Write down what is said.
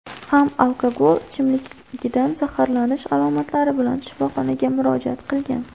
ham alkogol ichimligidan zaharlanish alomatlari bilan shifoxonaga murojaat qilgan.